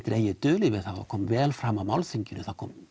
dregið dul yfir það og kom vel fram á málþinginu það kom